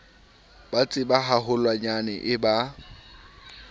ho tseba haholwanyane e ya